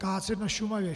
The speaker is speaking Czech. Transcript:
Kácet na Šumavě.